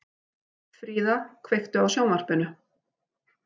Fríða, kveiktu á sjónvarpinu.